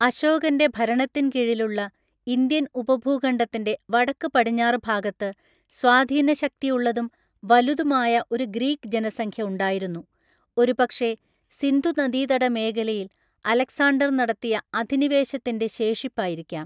അശോകന്റെ ഭരണത്തിൻ കീഴിലുള്ള ഇന്ത്യൻ ഉപഭൂഖണ്ഡത്തിന്റെ വടക്ക് പടിഞ്ഞാറ് ഭാഗത്ത് സ്വാധീനശക്തിയുള്ളതും വലുതുമായ ഒരു ഗ്രീക്ക് ജനസംഖ്യ ഉണ്ടായിരുന്നു, ഒരുപക്ഷേ സിന്ധുനദീതട മേഖലയിൽ അലക്സാണ്ടർ നടത്തിയ അധിനിവേശത്തിന്റെ ശേഷിപ്പായിരിക്കാം.